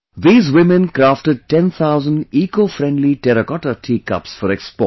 These women crafted ten thousand Ecofriendly Terracotta Tea Cups for export